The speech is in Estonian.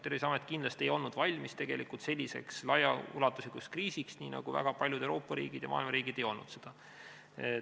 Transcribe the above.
Terviseamet kindlasti ei olnud valmis selliseks laiaulatuslikuks kriisiks, nii nagu ei olnud selleks valmis väga paljud Euroopa ja maailma riigid.